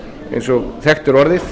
eins og þekkt er orðið